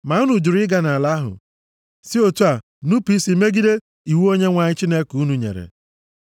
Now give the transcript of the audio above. Ma unu jụrụ ịga nʼala ahụ, si otu a nupu isi megide iwu Onyenwe anyị Chineke unu nyere.